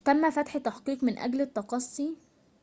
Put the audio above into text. تم فتح تحقيق من أجل التقصي